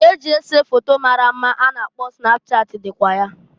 Nke eji ese foto mara mma a na-akpọ snapchat dịkwa ya.